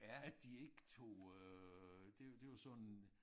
At de ikke tog øh det det var sådan